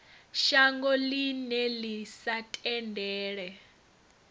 shango ḽine ḽi sa tendele